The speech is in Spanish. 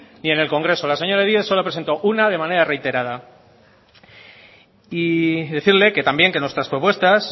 ni en el congreso la señora díez solo ha presentado una de manera reiterada y decirle también que nuestras propuestas